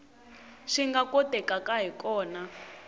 swi nga kotekaka hi kona